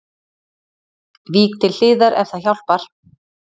Vík til hliðar ef það hjálpar